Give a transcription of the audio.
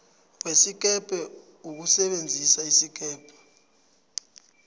wesikebhe ukusebenzisa isikebhe